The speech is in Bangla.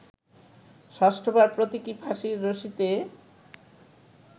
ষষ্ঠবার প্রতীকী ফাঁসির রশিতে